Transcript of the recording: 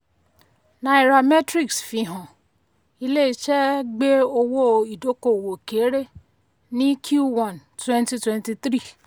nairametrics fihàn ilé iṣé gbé owó ìdókòwò kéré ní q1 2023.